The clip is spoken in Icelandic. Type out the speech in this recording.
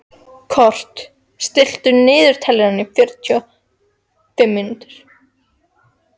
Kort (mannsnafn), stilltu niðurteljara á fjörutíu mínútur.